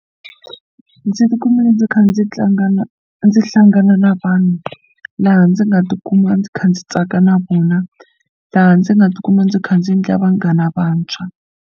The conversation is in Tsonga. Ndzi ti kumile ndzi kha ndzi tlanga na ndzi hlangana na vanhu laha ndzi nga tikuma ndzi kha ndzi tsaka na vona laha ndzi nga tikuma ndzi kha ndzi endla vanghana vantshwa.